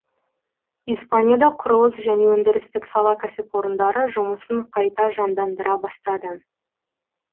испанияда құрылыс және өндірістік сала кәсіпорындары жұмысын қайта жандандыра бастады